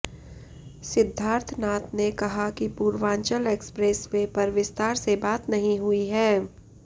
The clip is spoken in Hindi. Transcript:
सिद्धार्थनाथ ने कहा कि पूर्वांचल एक्सप्रेसवे पर विस्तार से बात नहीं हुई है